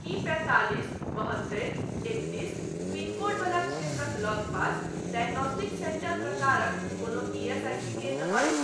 की पैंतालिस बहत्तरि एकतीस पिन कोड वला क्षेत्रक लगपास डायग्नोस्टिक सेन्टर प्रकारक कोनो ईएसआईसी केन्द्र अछि ?